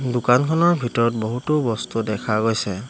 দোকানখনৰ ভিতৰত বহুতো বস্তু দেখা গৈছে।